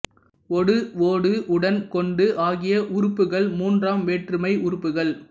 ஒடு ஓடு உடன் கொண்டு ஆகிய உருபுகள் மூன்றாம் வேற்றுமை உருபுகள்